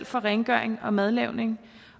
for rengøring og madlavning